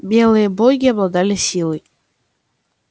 белые боги обладали силой